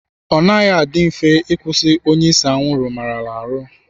Ọ naghị adị mfe ịkwụsị onye ise anwụrụ maarala ahụ.